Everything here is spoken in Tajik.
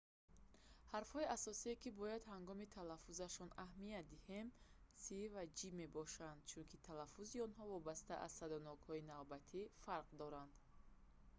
ҳарфҳои асосие ки бояд ҳангоми талафузашон аҳамият диҳем «c» ва «g» мебошанд чунки талаффузи онҳо вобаста аз садоноки навбатӣ фарқ дорад